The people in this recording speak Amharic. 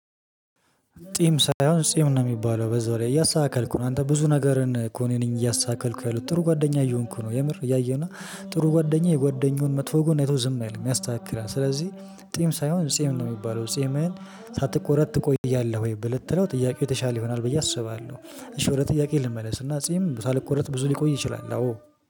ጢም ሳይሆን ጤም ነው የሚባለው በዛ ላይ እያሳተካልከው ነው አንተ ብዙ ነገርን ኮኔኒንግ እያሳተካልኩ ያሉት ጥሩ ጓደኛ እየሆንኩ ነው የምር እያየሁና ጥሩ ጓደኛ የጓደኛውን መጥፎ ጎን አይቶ ዝም አይደለም ያስተካክላል። ስለዚህ ጢም ሳይሆን ጤም ነው የሚባለው ጤምህን ሳትቆረጥ ትቆያለህ ወይ ብለህ ስትለው ጥያቄው የተሻለ ይሆናል። በየት? አስባለሁ እሺ ወደ ጥያቄ ልመለስ። እና ጺም ሳልቆረጥ ብዙ ሊቆይ ይችላል። አዎ